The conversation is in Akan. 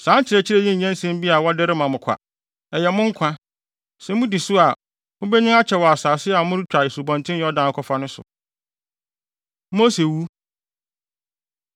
Saa nkyerɛkyerɛ yi nyɛ nsɛm bi a wɔde rema mo kwa, ɛyɛ mo nkwa! Sɛ mudi so a, mubenyin akyɛ wɔ asase a moretwa Asubɔnten Yordan akɔfa no so.” Mose Wu